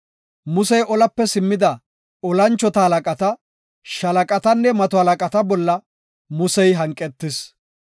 Musey olape simmida tora moconata, shaalaqatanne mato halaqata bolla hanqetis.